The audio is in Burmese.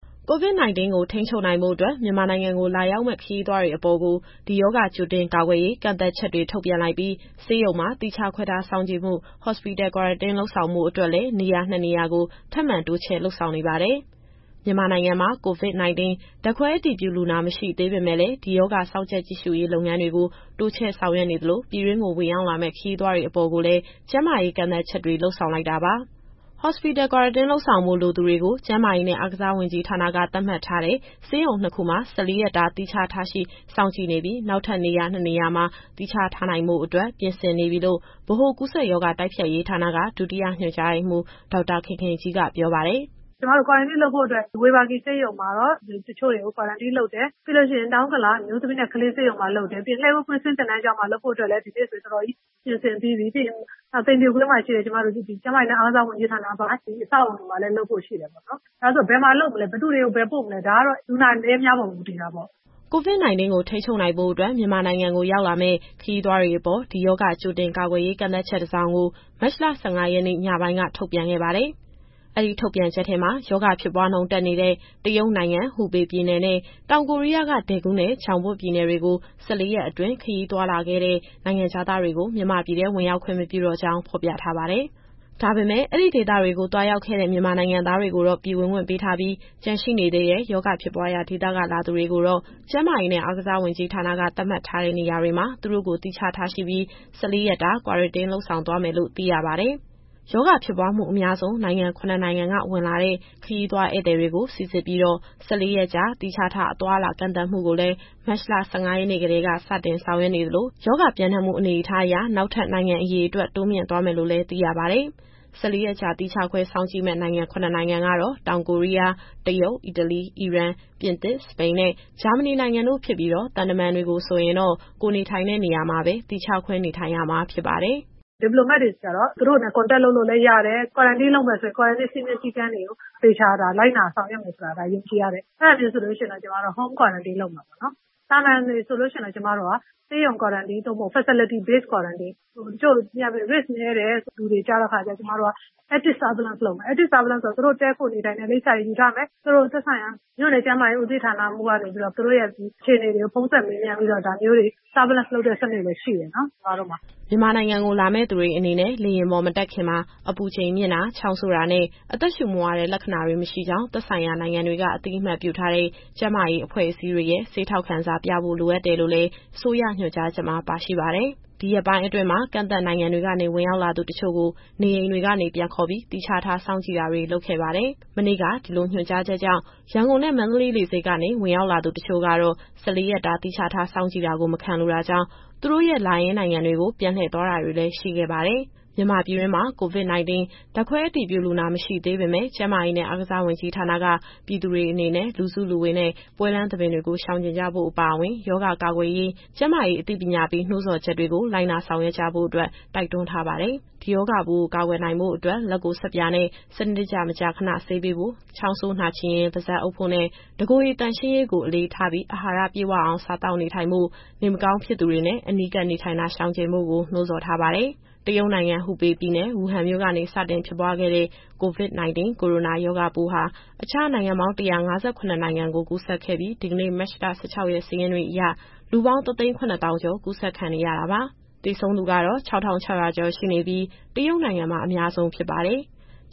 COVID-19 ထိန်းချုပ်နိုင်ဖို့အတွက် မြန်မာနိုင်ငံကို လာရောက်မယ့် ခရီးသွားတွေအပေါ် ရောဂါကြိုတင်ကာကွယ်ရေး ကန့်သတ်ချက်တွေ ထုတ်ပြန်လိုက်ပြီး ဆေးရုံမှာ သီးခြားခွဲထား စောင့်ကြည့်မှု Hospital Quarantine လုပ်ဆောင်ဖို့အတွက်လည်း နေရာနှစ်နေရာကို ထပ်မံတိုးချဲ့လုပ်ဆောင်နေပါတယ်။ မြန်မာနိုင်ငံမှာ COVID-19 ဓာတ်ခွဲအတည်ပြုလူနာ မရှိသေးပေမဲ့လည်း ဒီရောဂါစောင့်ကြပ် ကြည့်ရှုရေးလုပ်ငန်းတွေကို တိုးချဲ့ဆောင်ရွက်နေသလို ပြည်တွင်းကို ဝင်ရောက်လာမယ့် ခရီးသွားတွေအပေါ်ကိုလည်း ကျန်းမာရေးကန့်သတ်ချက်တွေ လုပ်ဆောင်လိုက်တာပါ။ Hospital Quarantine လုပ်ဆောင်ဖို့လိုသူတွေကို ကျန်းမာရေးနဲ့ အားကစားဝန်ကြီးဌာနက သတ်မှတ်ထားတဲ့ ဆေးရုံနှစ်ခုမှာ ၁၄ ရက်တာ သီးခြားထားရှိ စောင့်ကြည့်နေပြီး နောက်ထပ်နေရာနှစ်နေရာမှာ သီးခြားထားနိုင်ဖို့အတွက် ပြင်ဆင်နေပြီလို့ ဗဟိုကူးစက်ရောဂါ တိုက်ဖျက်ရေးဌာနက ဒုတိယညွှန်ကြားရေးမှူး ဒေါက်တာခင်ခင်ကြီးက ပြောပါတယ်။ “ကျမတို့ Quarantine လုပ်ဖို့အတွက် ဝေဘာဂီဆေးရုံမှာတော့ တချို့တွေကို Quarantine လုပ်တယ်။ ပြီးရင် တောင်ဥက္ကလာ အမျိုးသမီးနဲ့ ကလေးဆေးရုံမှာ လုပ်တယ်။ ပြီးရင် လှည်းကူးကွင်းဆင်း သင်တန်းကျောင်းမှာလုပ်ဖို့အတွက်လည်း ဒီနေ့ဆိုရင် တော်တော်ပြင်ဆင်ပြီးပြီ။ နောက် သိမ်ဖြူကွင်းမှာရှိတဲ့ ကျမတို့ကျန်းမာရေးနဲ့ အားကစားဝန်ကြီးဌာနပိုင် အဆောက်အအုံတွေမှာလည်း လုပ်ဖို့ရှိတယ်ပေါ့နော်။ ဒါဆိုဘယ်မှာလုပ်မလဲ ဘယ်သူတွေကို ဘယ်ပို့မလဲ ဒါကတော့ လူနာအနည်းအများပေါ် မူတည်တာပေါ့။” COVID- 19 ထိန်းချုပ်နိုင်ဖို့အတွက် မြန်မာနိုင်ငံကိုလာရောက်မယ့် ခရီးသွားတွေအပေါ် ရောဂါကြိုတင်ကာကွယ်ရေး ကန့်သတ်ချက်တစောင်ကို မတ်လ ၁၅ ရက် ညပိုင်းက ထုတ်ပြန်ခဲ့ပါတယ်။ အဲဒီထုတ်ပြန်ချက်ထဲမှာ ရောဂါဖြစ်ပွားနှုန်းတက်နေတဲ့ တရုတ်နိုင်ငံ၊ ဟူပေပြည်နယ်နဲ့ တောင်ကိုရီးယားက ဒယ်ဂူးနဲ့ ဂျောင်ဘွတ်ပြည်နယ်တွေကို ၁၄ ရက်အတွင်း ခရီးသွားလာခဲ့တဲ့ နိုင်ငံခြားသားတွေကို မြန်မာပြည်ထဲ ဝင်ရောက်ခွင့် မပြုတော့ကြောင်း ဖော်ပြထားပါတယ်။ ဒါပေမဲ့ အဲဒီဒေသတွေကို သွားရောက်ခဲ့တဲ့ မြန်မာနိုင်ငံသားတွေကို ပြည်ဝင်ခွင့်ပေးထားပြီး ကျန်ရှိနေသေးတဲ့ ရောဂါဖြစ်ပွားရာဒေသက လာသူတွေကိုတော့ ကျန်းမာရေးနဲ့ အားကစားဝန်ကြီးဌာနက သတ်မှတ်ထားတဲ့နေရာတွေမှာ သူတို့ကိုသီးခြားထားရှိပြီး ၁၄ ရက်တာ Quarantine လုပ်ဆောင်သွားမယ်လို့ သိရပါတယ်။ ရောဂါဖြစ်ပွားမှုအများဆုံး နိုင်ငံ ၇ နိုင်ငံက ဝင်လာတဲ့ ခရီးသွားဧည့်သည်တွေကို စီစစ်ပြီးတော့ ၁၄ ရက် သီးခြားထား အသွားအလာကန့်သတ်မှုကိုလည်း မတ်လ ၁၅ ရက်နေ့ကတည်းက စတင်ဆောင်ရွက်နေသလို၊ ရောဂါပျံနှံ့မှုအနေအထားအရ နောက်ထပ် နိုင်ငံအရေအတွက် တိုးမြှင့်သွားမယ်လို့လည်းသိရပါတယ်။ ၁၄ ရက်ကြာ သီးခြားခွဲစောင့်ကြည့်မယ့် နိုင်ငံ ၇ နိုင်ငံကတော့ တောင်ကိုရီယား၊ တရုတ်၊ အီတလီ၊ အီရန်၊ ပြင်သစ်၊ စပိန် နဲ့ ဂျာမဏီ နိုင်ငံတို့ဖြစ်ပြီးတော့ သံတမန်တွေဆိုရင်တော့ ကိုယ်နေထိုင်တဲ့နေရာမှာပဲ သီးခြားခွဲနေထိုင်ရမှာဖြစ်ပါတယ်။ “Diplomat တွေကျတော့ သူတို့တွေနဲ့ Contact လုပ်လို့လည်းရတယ်။ Quarantine လုပ်မယ်ဆိုရင် စည်းမျဉ်းစည်းကမ်းတွေကို သေချာလိုက်နာ ဆောင်ရွက်မယ်ဆိုတာ ယုံကြည်ရတယ်။ အဲဒါမျိုးဆိုရင်တော့ ကျမတို့က Home Quarantine လုပ်မယ်။ သာမန်လူဆိုရင်တော့ ဆေးရုံ Quarantine သို့မဟုတ် Facilities Base Quarantine ။ တချို့ကိုဆို Active Surveillance လုပ်မယ်။ Active Surveillance ဆိုတာ သူတို့တည်းခိုနေထိုင်နေတဲ့ လိပ်စာတွေယူထားမယ်။ သူတို့ရဲ့သက်ဆိုင်ရာ မြို့နယ်ကျန်းမာရေး ဦးစီးမှူးကနေပြီးတော့ သူတို့ရဲ့အခြေအနေတွေကို ဖုန်းဆက်မေးမြန်းတဲ့ စနစ်လည်းရှိတယ်။” မြန်မာနိုင်ငံကို လာမယ့်သူတွေ အနေနဲ့ လေယာဉ်ပေါ်မတက်ခင်မှာ အပူချိန်မြင့်တာ ချောင်းဆိုးတာနဲ့ အသက်ရှူမဝတဲ့ လက္ခဏာတွေမရှိကြောင်း သက်ဆိုင်ရာနိုင်ငံတွေက အသိအမှတ်ပြုထားတဲ့ ကျန်းမာရေးအဖွဲ့အစည်းတွေရဲ့ ဆေးထောက်ခံစာ ပြသဖို့လိုတယ်လို့လည်း အစိုးရညွှန်ကြားချက်မှာ ပါရှိပါတယ်။ ဒီရက်ပိုင်းအတွင်းမှာ ကန့်သတ်နိုင်ငံတွေကနေ ဝင်ရောက်လာသူတချို့ကို နေအိမ်တွေကနေပြန်ခေါ်ပြီး သီးခြားထားစောင့်ကြည့်တာတွေ လုပ်ခဲ့ပါတယ်။ မနေ့က ညွှန်ကြားချက်ကြောင့် ရန်ကုန်နဲ့ မန္တလေးလေဆိပ်ကနေ ဝင်ရောက်လာသူတချို့က ၁၄ ရက်တာ သီးခြားထားစောင့်ကြည့်တာကို မခံလိုတာကြောင့် သူတို့ရဲ့လာရင်းနိုင်ငံတွေကို ပြန်လှည့်သွားတာတွေလည်း ရှိခဲ့ပါတယ်။ မြန်မာပြည်တွင်းမှာ COVID- 19 ဓာတ်ခွဲအတည်ပြုလူနာ မရှိသေးပေမယ့် ကျန်းမာရေးနဲ့ အားကစားဝန်ကြီးဌာနက ပြည်သူတွေအနေနဲ့ လူစုလူဝေးနဲ့ ပွဲလမ်းသဘင်တွေကို ရှောင်ကြဉ်ကြဖို့အပါအဝင် ရောဂါကာကွယ်ရေး ကျန်းမာရေးအသိပေး နှိုးဆော်ချက်တွေကို လိုက်နာဆောင်ရွက်ကြဖို့ တိုက်တွန်းထားပါတယ်။ ဒီရောဂါပိုး ကာကွယ်နိုင်ဖို့အတွက် လက်ကိုဆပ်ပြာနဲ့ စနစ်တကျ မကြာခဏဆေးပေးဖို့၊ ချောင်းဆိုးနှာချေရင် ပါးစပ်အုပ်ဖို့၊ တကိုယ်ရေသန့်ရှင်းရေးကို အလေးထားပြီး အာဟာရပြည့်ဝအောင် စားသောက်နေထိုင်ဖို့နဲ့ နေမကောင်းဖြစ်သူတွေနဲ့ အနီးကပ်နေထိုင်တာ ရှောင်ကြဉ်ဖို့ကို နှိုးဆော်ထားပါတယ်။ တရုတ်နိုင်ငံ၊ ဟူပေပြည်နယ်၊ ဝူဟန်မြို့ကနေ စတင်ဖြစ်ပွားခဲ့တဲ့ COVID-19 ကိုရိုနာရောဂါပိုးဟာ အခြားနိုင်ငံပေါင်း ၁၅၇ နိုင်ငံကို ကူးစက်ခဲ့ပြီး ဒီကနေ့ မတ်လ ၁၆ရက်စာရင်းအရ လူပေါင်း ၁၇၀,၀၀၀ ကျော် ကူးစက်ခံနေရတာပါ။ သေဆုံးသူကတော့ ၆,၆၀၀ ကျော်ရှိပြီး တရုတ်နိုင်ငံမှာ အများဆုံးဖြစ်ပါတယ်။